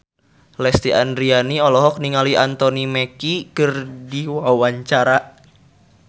Lesti Andryani olohok ningali Anthony Mackie keur diwawancara